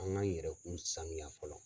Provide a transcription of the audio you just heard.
An k'an yɛrɛkun saniya fɔlɔ.